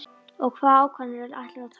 Og hvaða ákvarðanir ætlarðu að taka?